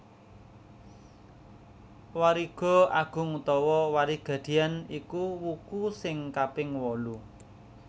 Wariga agung utawa Warigadian iku wuku sing kaping wolu